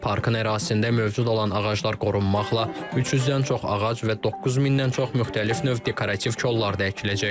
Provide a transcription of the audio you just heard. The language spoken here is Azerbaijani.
Parkın ərazisində mövcud olan ağaclar qorunmaqla 300-dən çox ağac və 9000-dən çox müxtəlif növ dekorativ kollar da əkiləcək.